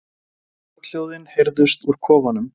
Brothljóðin heyrðust úr kofanum.